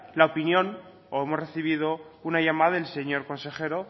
la opinión o hemos recibido una llamada del señor consejero